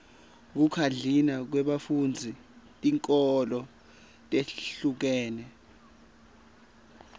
kukhadlina kwebafundzi tinkholo letihlukene